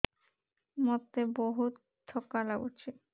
ମୋତେ ବହୁତ୍ ଥକା ଲାଗୁଛି